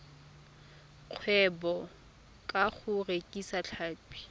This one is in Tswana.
kgwebo ka go rekisa tlhapi